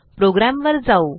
प्रोग्रॅमवर जाऊ